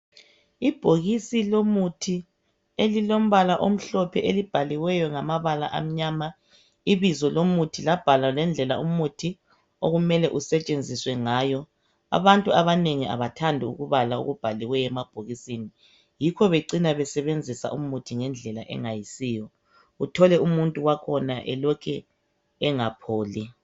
ibhokisi lomuthi elilombala omhloph elibhaliweyo ngamabala amnyama ibizo lomuthi labhalwa ngendlela umuthi okumele usetshenziswe ngayo abantu abanengi abathandi ukubala okubhaliweyo emabhokisini yikho becina besebenzisa umuthi ngendlela engayisiyo uthole umuntu wakhona elokhe engapholi